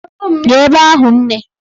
Gaa ebe ahụ nne!